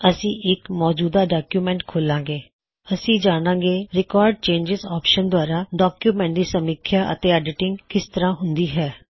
ਅਸੀ ਇੱਕ ਮੌਜੂਦਾ ਡੌਕਯੁਮੈੱਨਟ ਖੋੱਲ੍ਹਾਂ ਗੇ ਅਤੇ ਜਾੱਣਾ ਗੇ ਕੀ ਰਿਕੌਰ੍ਡ ਚੇਨਜਿਜ਼ ਆਪਸ਼ਨ ਦ੍ਵਾਰਾ ਡੌਕਯੁਮੈੱਨਟਜ਼ ਦੀ ਸਮੀਖਿਆ ਅਤੇ ਐਡਿਟਿਂਜ ਕਿਸ ਤਰਹ ਹੂੰਦੀ ਹੈ